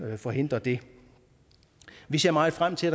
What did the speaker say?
forhindre det vi ser meget frem til